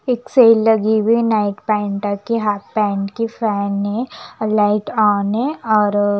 एक सेल लगी हुई है नाईट पैंटा की हाफ पैन्ट की फैन है और लाइट ऑन है और--